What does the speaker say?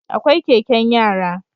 Akwai Keken yara